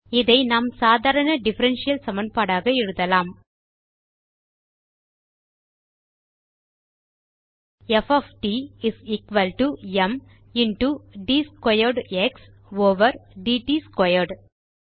இதை நாம் சாதாரண டிஃபரன்ஷியல் சமன்பாடாக எழுதலாம் p of t is equal to m into d squared x over d t squared